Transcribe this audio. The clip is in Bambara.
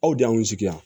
Aw de y'anw sigi yan